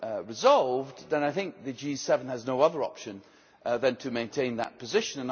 not resolved I think the G7 has no other option other than to maintain that position